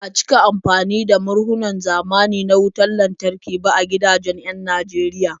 Ba a cika amfani da murhun zamani na wutar lantarki ba a gidajen 'yan Najeriya.